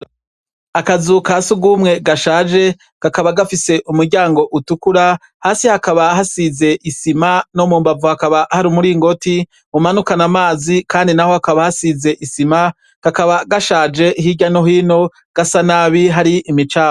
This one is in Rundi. Akazu kasugumwe gashaje kakaba gafise umuryango utukura hasi kakaba hasize isima nomumbavu hakaba hari umuringoti umanukana amazi kandI naho hakaba hashize isima kakaba gashaje hirya nohino hasanabi hari imicafu